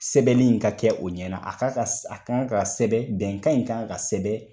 Sɛbɛnnin in ka kɛ o ɲɛna a k'a ka a k'a kan ka sɛbɛn bɛnkanw in kan ka sɛbɛn